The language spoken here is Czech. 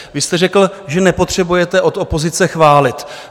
Vy jste řekl, že nepotřebujete od opozice chválit.